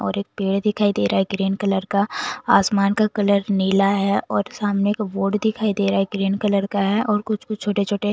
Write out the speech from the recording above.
और एक पेड़ दिखाई दे रहा है ग्रीन कलर का आसमान का कलर नीला है और सामने का बोर्ड दिखाई दे रहा है ग्रीन कलर का है और कुछ-कुछ छोटे-छोटे--